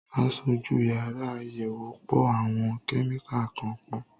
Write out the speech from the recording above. Aṣojú yàrá àyẹ̀wò ń po àwọn kẹ́míkà kan pọ̀.